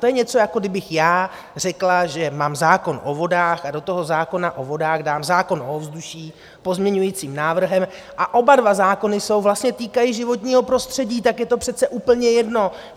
To je něco, jako kdybych já řekla, že mám zákon o vodách a do toho zákona o vodách dám zákon o ovzduší pozměňujícím návrhem, a oba dva zákony se vlastně týkají životního prostředí, tak je to přece úplně jedno!